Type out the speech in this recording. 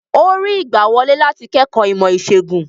Ó rí ìgbàwọlé láti kẹ́kọ̀ọ́ ìmọ̀-ìṣègùn?